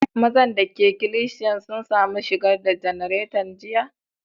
Mazan da ke ikilisiyan sun samu shigar da janaretan jiya?